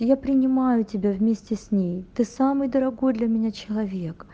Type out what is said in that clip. я принимаю тебя вместе с ней ты самый дорогой для меня человек